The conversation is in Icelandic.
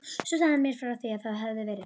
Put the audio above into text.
Svo sagði hann mér frá því að það hefði verið